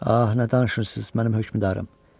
Ah, nə danışırsınız, mənim hökmdarım.